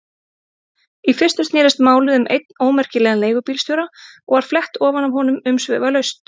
Í fyrstu snerist málið um einn ómerkilegan leigubílstjóra og var flett ofan af honum umsvifalaust.